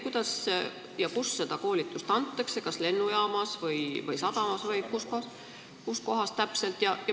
Kuidas ja kus seda koolitust antakse, kas lennujaamas, sadamas või kus kohas täpselt?